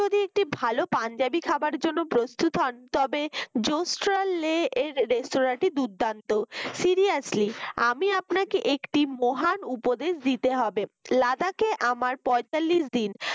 একটি ভালো পাঞ্জাবি খাবার জন্য প্রস্তুত হন তবে জোস্টারলে এর restaurant টি দুর্দান্ত seriously আমি আপনাকে একটি মহান উপদেশ দিতে হবে লাদাকে আমার পঁয়তাল্লিশ দিন